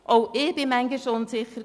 Auch ich war manchmal unsicher.